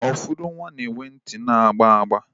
Ụfọdụ nwa na-enwe ntị na-agba agba.